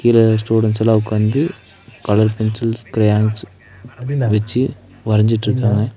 கீழ ஸ்டூடென்ட்ஸ் எல்லா உக்காந்து கலர் பென்சில் கிரையான்ஸ் வெச்சு வரஞ்சிட்டுருக்காங்க.